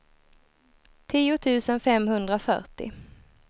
tio tusen femhundrafyrtio